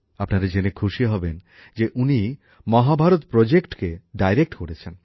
আপনারা এটা জেনে খুশি হবেন যে উনি মহাভারত প্রকল্পকে পরিচালনা করেছেন